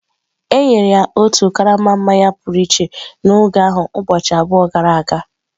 E nyere ya otu karama mmanya pụrụ iche n’oge ahụ ụbọchị abụọ gara aga.